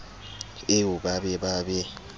eo ba be ba be